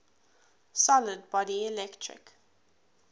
solid body electric